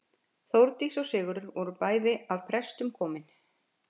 Þórdís og Sigurður voru bæði af prestum komin.